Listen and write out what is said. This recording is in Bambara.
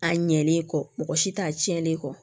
A ɲɛlen kɔ mɔgɔ si t'a tiɲɛlen kɔ